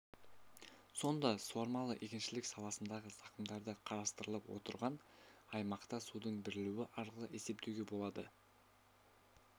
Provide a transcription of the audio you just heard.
сонда суармалы егіншілік саласындағы зақымдарды қарастырылып отырған аймақта судың берілуі арқылы есептеуге болады